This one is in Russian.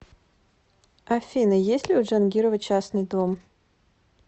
афина есть ли у джангирова частный дом